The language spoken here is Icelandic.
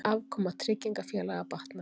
Afkoma tryggingafélaga batnar